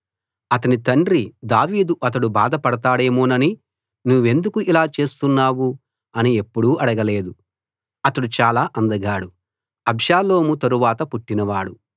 అతని తండ్రి దావీదు అతడు బాధ పడతాడేమోనని నువ్వెందుకు ఇలా చేస్తున్నావు అని ఎప్పుడూ అడగలేదు అతడు చాలా అందగాడు అబ్షాలోము తరువాత పుట్టినవాడు